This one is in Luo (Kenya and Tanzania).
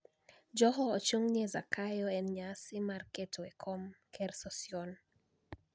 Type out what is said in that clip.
Joho ochunig' ni e Zakayo e niyasi mar keto ekom ker Sosionii